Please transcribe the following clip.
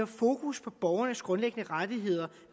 fokus på borgernes grundlæggende rettigheder